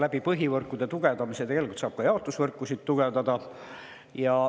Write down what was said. Läbi põhivõrkude tugevdamise tegelikult saab ka jaotusvõrkusid tugevdada.